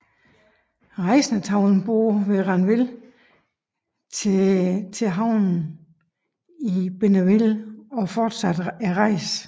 Rejsende tog en båd ved Ranville til til havnen i Bénouville og fortsatte rejsen